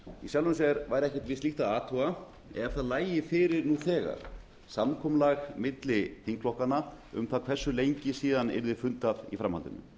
í sjálfu sér væri ekkert við slíkt að athuga ef það lægi fyrir nú þegar samkomulag milli þingflokkanna um það hversu lengi síðan yrði fundað í framhaldinu